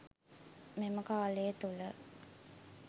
මෙම කාලය තුළ